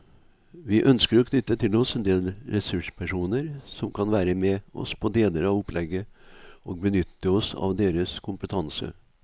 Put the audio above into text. Vi ønsker å knytte til oss en del ressurspersoner som kan være med oss på deler av opplegget og benytte oss av deres kompetanse.